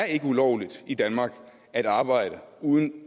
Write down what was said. ulovligt i danmark at arbejde uden